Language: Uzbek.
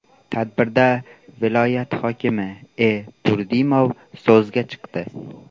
Tadbirda viloyat hokimi E. Turdimov so‘zga chiqdi.